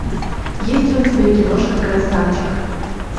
есть ли у тебя киношка красавчик